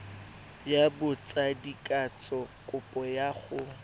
ya botsadikatsho kopo ya go